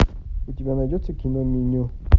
у тебя найдется киноменю